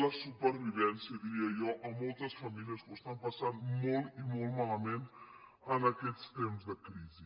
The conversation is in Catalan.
la supervivència diria jo a moltes famílies que ho passen molt i molt malament en aquests temps de crisi